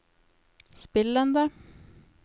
spillende